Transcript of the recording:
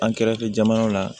An kɛrɛfɛ jamanaw la